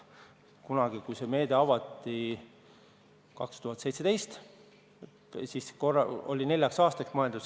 Kunagi, kui see meede avati, aastal 2017, siis oli see neljaks aastaks mõeldud.